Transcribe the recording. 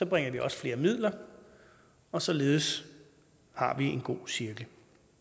bringer vi også flere midler og således har vi en god cirkel